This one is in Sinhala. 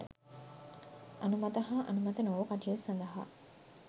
අනුමත හා අනුමත නොවු කටයුතු සඳහා